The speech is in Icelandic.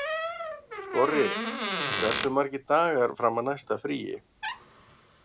Skorri, hversu margir dagar fram að næsta fríi?